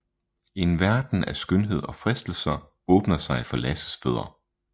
En verden af skønhed og fristelser åbner sig for Lasses fødder